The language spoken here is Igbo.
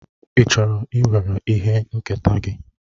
Ị chọrọ iwere ihe nketa gị?